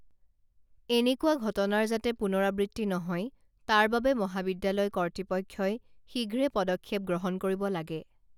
এনেকুৱা ঘটনাৰ যাতে পুনৰাবৃত্তি নহয় তাৰবাবে মহাবিদ্যালয় কৰ্তৃপক্ষই শীঘ্ৰে পদক্ষেপ গ্ৰহণ কৰিব লাগে